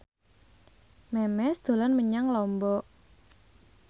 Memes dolan menyang Lombok